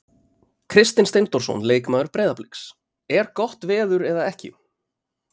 Kristinn Steindórsson leikmaður Breiðabliks: Er gott veður eða ekki?